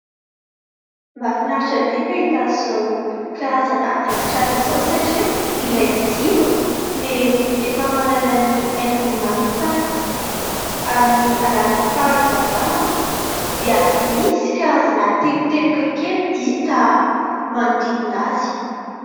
mahafinaritra be mahita izao karazana haingon-trano izao satria ilay jiro dia efa manana ny haingony manokana amin'ny alalan'ny fahazavany manko dia misy karazana teboteboka kely hita manodidina azy